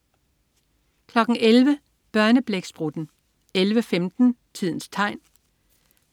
11.00 Børneblæksprutten 11.15 Tidens Tegn